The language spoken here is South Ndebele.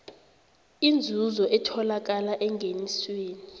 inzuzo etholakala engenisweni